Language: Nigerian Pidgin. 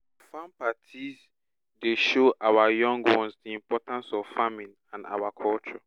our farm parties dey show our young ones di importance of farming and our culture